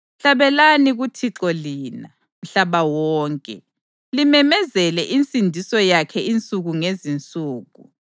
Hlabelani kuThixo lina, mhlaba wonke, limemezele insindiso yakhe insuku ngezinsuku.